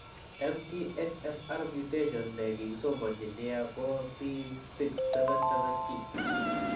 MTHFR mutation ne kikesomanji nia ko C677T.